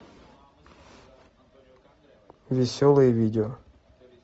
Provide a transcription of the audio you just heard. веселые видео